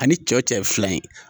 A ni cɛ o cɛ fila ye.